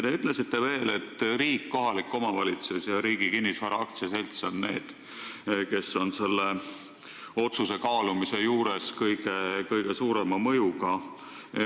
Te ütlesite veel, et riik, kohalik omavalitsus ja Riigi Kinnisvara AS on need, kes on selle otsuse kaalumisel kõige suurema mõjuga.